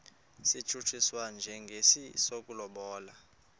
satshutshiswa njengesi sokulobola